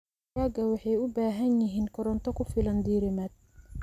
Digaagga waxay u baahan yihiin koronto ku filan diirimaad.